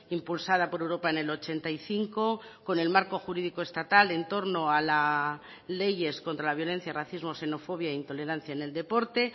impulsada por europa en el ochenta y cinco con el marco jurídico estatal en torno a las leyes contra la violencia racismo xenofobia intolerancia en el de deporte